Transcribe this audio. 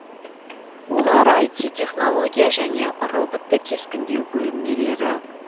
олар іт технология және роботты кескіндеу бөлмелері